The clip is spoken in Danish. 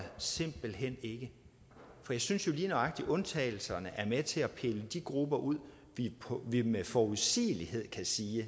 simpelt hen ikke for jeg synes jo lige nøjagtig at undtagelserne er med til at pille de grupper ud vi med forudsigelighed kan sige